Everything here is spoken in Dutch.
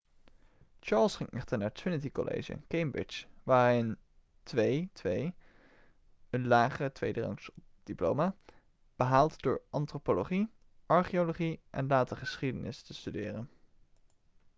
charles ging echter naar trinity college cambridge waar hij een 2:2 een lagere tweederangsdiploma behaalde door antropologie archeologie en later geschiedenis te studeren